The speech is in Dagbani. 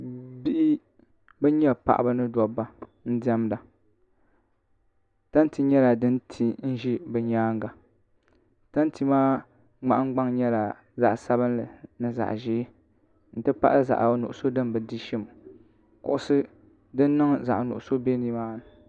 bihi ban nyɛ paɣaba ni dabba n diɛmda tanti nyɛla din ti n za bɛ nyaanga tanti maa nahingbaŋ nyɛla zaɣ' sabinlli ni zaɣ' ʒee nti pahi zaɣ' nuɣiso din bi di shim kuɣisi din niŋ zaɣ' nuɣiso be ni maa ni